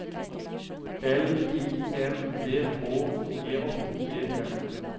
L I N D H J E M